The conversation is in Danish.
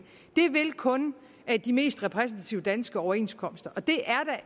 det vil kun de mest repræsentative danske overenskomster og det er